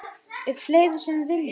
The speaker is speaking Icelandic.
Eru fleiri sem vilja?